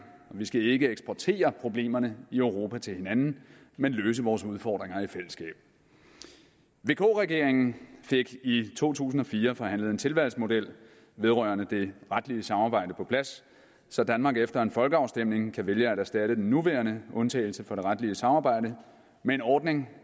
og vi skal ikke eksportere problemerne i europa til hinanden men løse vores udfordringer i fællesskab vk regeringen fik i to tusind og fire forhandlet en tilvalgsmodel vedrørende det retlige samarbejde på plads så danmark efter en folkeafstemning kan vælge at erstatte den nuværende undtagelse fra det retlige samarbejde med en ordning